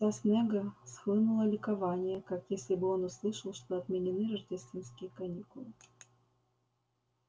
с лица снегга схлынуло ликование как если бы он услышал что отменены рождественские каникулы